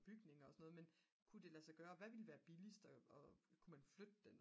bygninger og så noget men kunne det lade sig gøre hvad ville være billigst og kunne man flytte det